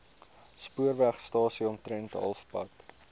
spoorwegstasie omtrent halfpad